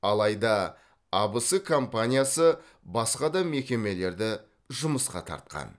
алайда абс компаниясы басқа да мекемелерді жұмысқа тартқан